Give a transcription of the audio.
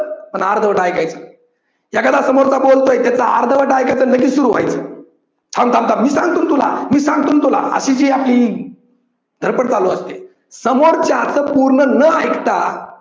पण अर्धवट ऐकायचं. एखादा समोरचा बोलतोय त्याचं अर्धवट ऐकायचं आणि लगेच सुरू व्हायचं. थांब थांब थांब मी सांगतो तुला मी सांगतो ना तुला अशी जी आपली ही धडपड चालू असते. समोरच्याच पूर्ण न ऐकता